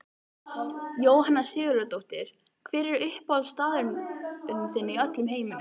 Jóhanna Sigurðardóttir Hver er uppáhaldsstaðurinn þinn í öllum heiminum?